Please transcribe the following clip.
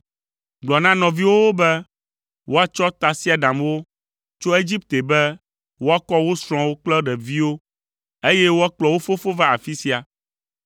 Gblɔ na nɔviwòwo be woatsɔ tasiaɖamwo tso Egipte be woakɔ wo srɔ̃wo kple ɖeviwo, eye woakplɔ wo fofo va afi sia.